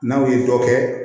N'aw ye dɔ kɛ